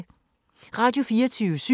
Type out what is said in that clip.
Radio24syv